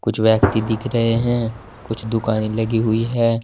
कुछ व्यक्ति दिख रहे हैं कुछ दुकानें लगी हुई है।